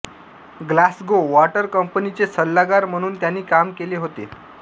Glasgow water कंपनीचे सल्लागार म्हणून त्यांनी काम केले होते